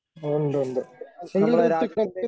ഒണ്ടൊണ്ട് എങ്കിൽ ഋഥ്വിക്